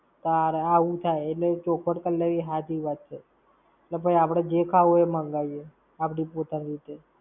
તારે. આવું થાય! એટલે ચોખવટ કર લેવી હાચી વાત છે. એટલે ભૈ આપણે જે ખાવું હોય તે મંગાઈએ આપણી પોતાની રીતે.